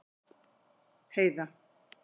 Heiða